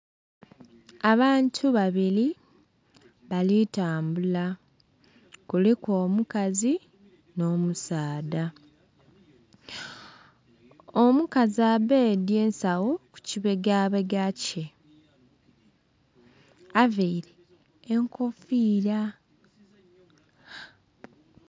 Abantu babili bali tambula, kuliku omukazi nh'omusaadha. Omukazi abbedhye ensagho ku kibegabega kye, avaire enkofiira.